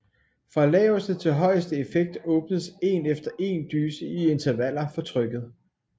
Fra laveste til højeste effekt åbnes én efter én dyse i intervaller for trykket